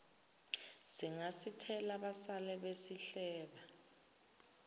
singasithela basale besihleba